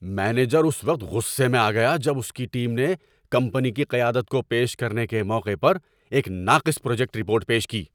Manager اس وقت غصے میں آ گیا جب اس کی ٹیم نے کمپنی کی قیادت کو پیش کرنے کے موقع پر ایک ناقص پروجیکٹ رپورٹ پیش کی۔